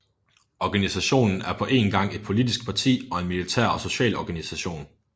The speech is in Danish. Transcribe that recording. Organisationen er på én gang et politisk parti og en militær og social organisation